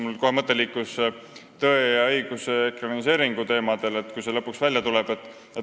Mul liikus mõte kohe "Tõe ja õiguse" ekraniseeringu teemadele, kui see lõpuks ikka välja tuleb.